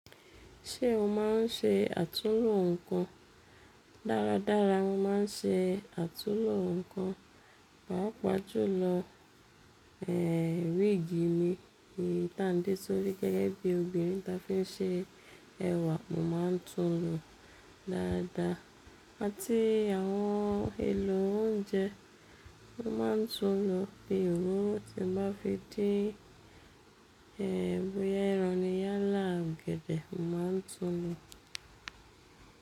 Ṣé o máa ń ṣe àtunlò nǹkan? Dárádára, mo máa ń ṣe àtulò nǹkan. Pàápàá jùlọ, ẹ́, wíìgì mi ta n dé sórí gẹ́gẹ́ bí obìnrin ta fi ń ṣe ẹwà mo máa ń tun lo dáadáa. Àti àwọn èlò oúnjẹ mo máa ń tun lo. Bí ìró ti ba fi dé, ẹ́, bóyá ìrọ̀rí yálà, ọ̀gẹ̀dẹ̀ mo máa ń tun lo.